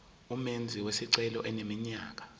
umenzi wesicelo eneminyaka